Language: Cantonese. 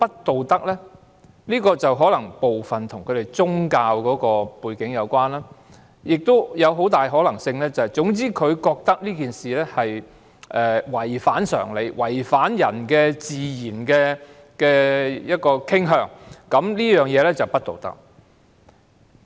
部分原因可能與他們的宗教背景有關，亦有很大可能是他們覺得這事違反常理，違反人的自然傾向，便是不道德。